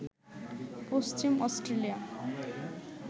Paschim Australia